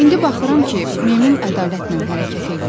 İndi baxıram ki, meymun ədalətlə hərəkət eləyir.